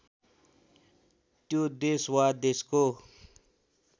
त्यो देश वा देशको